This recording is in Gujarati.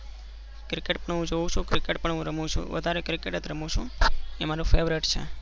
cricket તો હું જોઉં છું favorite રમું છું. વધારે હું cricket જ રમું છું. અ મારું favorite છે.